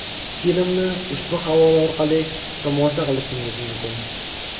Filmni ushbu havola orqali tomosha qilishingiz mumkin.